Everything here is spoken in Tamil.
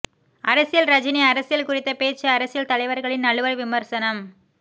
அரசியல் ரஜினி அரசியல் குறித்த பேச்சு அரசியல் தலைவர்களின் நழுவல் விமர்சனம்